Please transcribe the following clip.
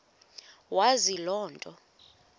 wazi loo nto